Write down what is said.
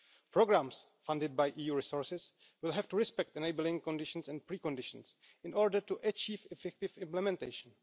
Programmes funded by EU resources will have to respect enabling conditions and preconditions in order to achieve effective implementation.